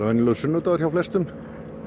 venjulegur sunnudagur hjá flestum